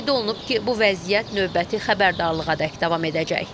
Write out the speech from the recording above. Qeyd olunub ki, bu vəziyyət növbəti xəbərdarlığadək davam edəcək.